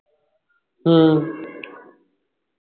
ਹੂ